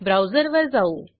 ब्राऊजरवर जाऊ